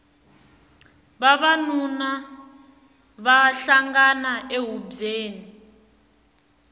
vavanuna va hlangana ehubyeni